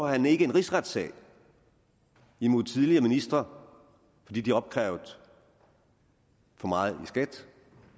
han ikke en rigsretssag imod tidligere ministre fordi de har opkrævet for meget i skat